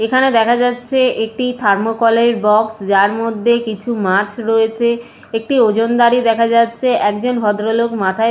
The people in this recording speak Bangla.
এখানে দেখা যাচ্ছে একটি থার্মোকলের বক্স । যার মধ্যে কিছু মাছ রয়েছে একটি ওজনদারী দেখা যাচ্ছে। একজন ভদ্রলোক মাথায়--